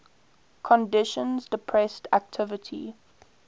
conditions depressed activity